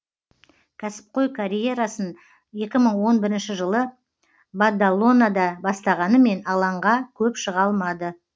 кәсіпқой карьерасын екі мың он бірнші жылы бадалонада бастағанымен алаңға көп шыға алмады